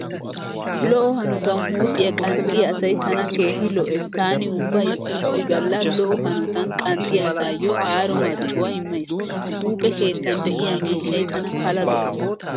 Lo'o hanotan huuphiyaa qanxxiyaa asay tana keehi lo'ees, taani ubba issi issi galla lo'o hanotan qanxxiyaa asaayyo aaro marccuwaa immays. Huuphe keettan de'iyaa miishshay tana pala lo'ees.